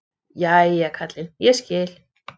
Jæja kallinn, ég skil.